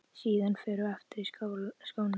Síðan förum við aftur í skóna.